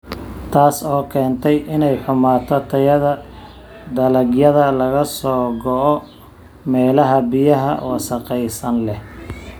Taas oo keentay inay xumaato tayada dalagyada laga soo go'o meelaha biyaha wasakhaysan leh.